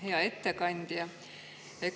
Hea ettekandja!